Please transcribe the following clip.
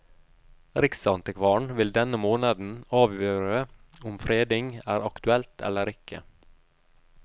Riksantikvaren vil denne måneden avgjøre om fredning er aktuelt eller ikke.